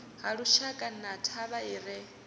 halushaka na thavha i re